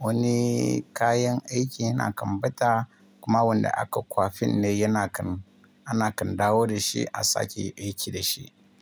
wani kayan aiki yana kan ɓata kuma wanda aka kwafin ne yana kan, ana kan dawo da shi a sake aiki da shi.